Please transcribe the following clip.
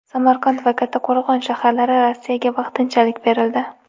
Samarqand va Kattqo‘rg‘on shaharlari Rossiyaga vaqtinchalik berildi.